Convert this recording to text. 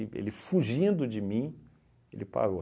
E ele fugindo de mim, ele parou.